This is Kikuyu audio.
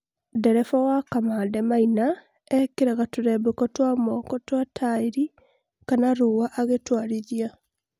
ndereba wa kamande maina ekĩraga turembeko twa moko twa taĩri kana rũa agĩtwarĩthia